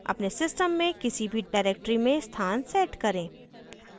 अपने system में किसी भी directory में स्थान set करें